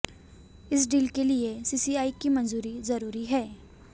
इस डील के लिए सीसीआई की मंजूरी जरूरी है